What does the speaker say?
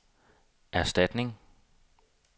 erstatning